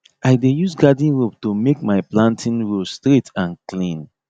i dey use garden rope to make my planting row straight and clean